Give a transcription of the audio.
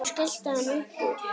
Svo skellti hann upp úr.